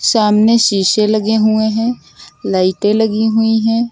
सामने शीशे लगे हुए हैं लाइटें लगी हुई है।